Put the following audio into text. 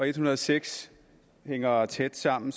en hundrede og seks hænger tæt sammen